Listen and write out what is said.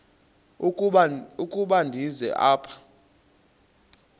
ukuba ndize apha